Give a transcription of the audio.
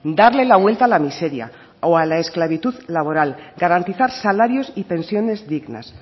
darle la vuelta a la miseria o a la esclavitud laboral garantizar salarios y pensiones dignas